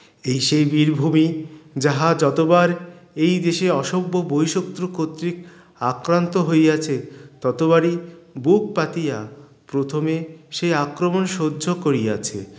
এই সেই বীর ভুমি যাহা যতবার এই দেশে অসভ্য বৈশক্রু কতৃক আক্রান্ত হইয়াছে ততবারই বুক পাতিয়া প্রথমে সে আক্রমণ সহ্য করিয়াছে